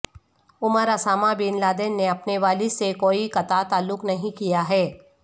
عمر Osama bin Laden نے اپنے والد سے کوئی قطع تعلق نہیں کیا ہے